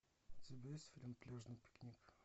у тебя есть фильм пляжный пикник